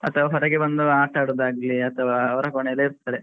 ಹೊರಗೆ ಬಂದು ಆಟ ಆಡುವುದಾಗಲಿ ಅಥವಾ ಅವರ ಕೋಣೆಯಲ್ಲಿ ಇರ್ತಾರೆ.